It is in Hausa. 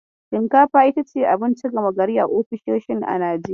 Shinkafa itace abinci gama gari ofisoshin a Najeriya.